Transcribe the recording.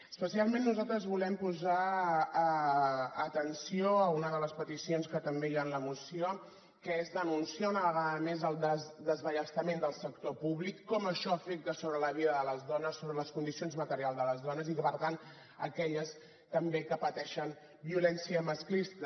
especialment nosaltres volem posar atenció a una de les peticions que també hi ha en la moció que és denunciar una vegada més el desballestament del sector públic com això afecta sobre la vida de les dones sobre les condicions materials de les dones i que per tant aquelles també que pateixen violència masclista